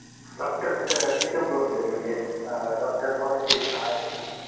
doctor किती उपलब्ध आहेत म्हणजे डॉक्टर पॉलिटिक्स आहेत ना